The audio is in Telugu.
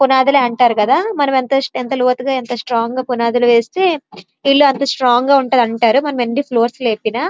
పునాదులు అంటారు కదా మనం ఎంత లోతుగా ఎంత స్ట్రాంగ్ గా పునాదులు వేస్తే ఇల్లు అంత స్ట్రాంగ్ గా ఉంటది అంటారు మనం ఎన్ని ఫ్లోర్స్ లేపిన.